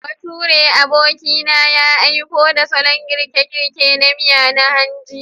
Baturen abokina ya aiko da salon girke-girke na miya na hanji.